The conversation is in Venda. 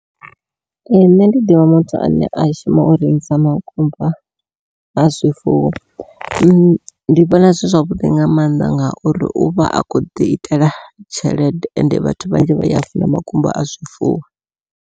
Ee nṋe ndi ḓivha muthu ane a shuma u rengisa makumba a zwifuwo, ndi vhona zwi zwavhuḓi nga maanḓa ngauri uvha a khou ḓi itela tshelede ende vhathu vhanzhi vha ya funa makumba a zwifuwo.